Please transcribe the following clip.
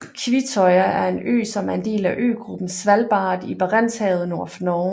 Kvitøya er en ø som er en del af øgruppen Svalbard i Barentshavet nord for Norge